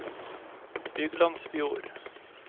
Byglandsfjord